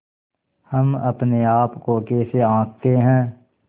हम अपने आप को कैसे आँकते हैं